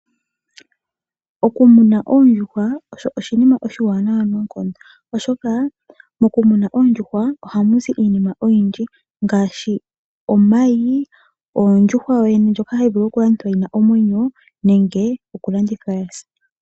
Oku muna oondjuhwa osho oshinima oshiwanawa noonkondo, oshoka moku muna oondjuhwa ohamu zi iinima oyindji ngaashi omayi, ondjuhwa yo yene ndjoka hayi vulu okulandithwa yina omwenyo nenge okulandithwa ya sa.